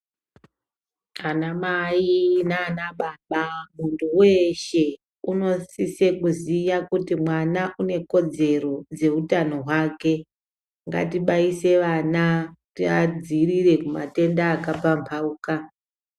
Anamai nanababa, muntu weshe unosise kuziye kuti mwana unekodzero dzeutano hwake, ngatibayise vana tivadziirire kumatenda akapamhauka.